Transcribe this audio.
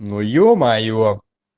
ну е-мое